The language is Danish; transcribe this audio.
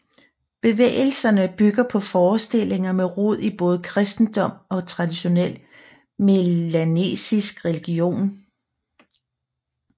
Bevægelserne bygger på forestillinger med rod i både kristendom og traditionel melanesisk religion